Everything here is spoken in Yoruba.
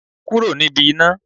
Kúrò níbi iná.